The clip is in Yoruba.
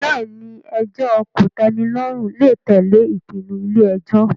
Bẹ́ẹ̀ ni, ẹjọ́ kòtẹ́milọ́rùn lè tẹ̀lé ìpinnu ilé ẹjọ́